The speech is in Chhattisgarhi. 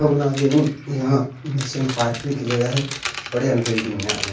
कमना गिन यहाँँ नीचे म पार्किंग के जगह हे बड़े अन बिल्डिंग में आ--